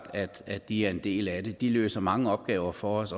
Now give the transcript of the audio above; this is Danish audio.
at de er en del af det de løser mange opgaver for os